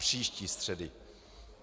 Příští středy.